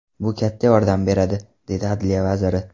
Bu katta yordam beradi”, dedi Adliya vaziri.